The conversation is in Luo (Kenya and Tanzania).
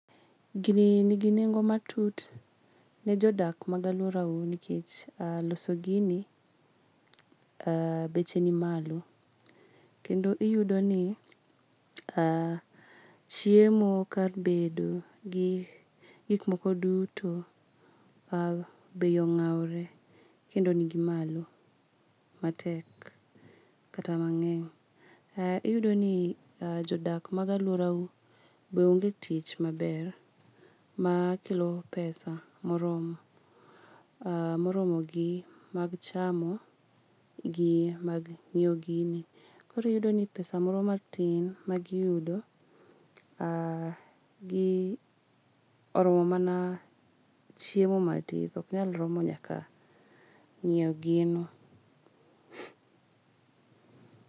Gini nigi nengo matut ne jodak mag aluorau nikech aa loso gini aa beche ni malo. Kendo iyudoni aa chiemo kar bedo gi gik moko duto aa beyi ong'awore kendo nigi malo matek kata mang'eny. Ee iyudoni jodak mag aluorau be onge tich maber maakelo pesa moromo. Aa moromogi mag chamo gi mag ng'iwo gini. Koro iyudoni pesa moro matin magi yudo aa gii oromo mana chiemo matis ok nyal romo nyaka ng'iewo gino.